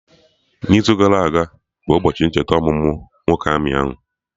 n'izu gara aga bụ ụbọchị ncheta ọmụmụ nwoke amị ahụ